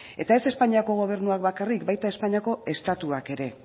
eta ez espainiako gobernuak bakarrik baita espainiako estatuak ere